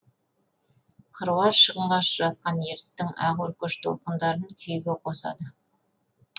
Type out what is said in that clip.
қыруар шығынға ұшыратқан ертістің ақ өркеш толқындарын күйге қосады